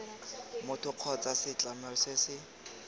motho kgotsa setlamo se se